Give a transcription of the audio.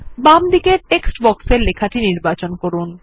বামদিকের টেক্সট বক্সের লেখাটি নির্বাচন করুন